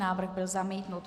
Návrh byl zamítnut.